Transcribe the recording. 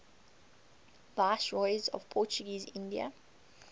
viceroys of portuguese india